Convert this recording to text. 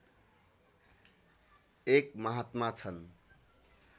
एक महात्मा छन्